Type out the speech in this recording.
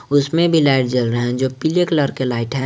उसमें भी लाइट जल रहा है जो पीले कलर के लाइट हैं।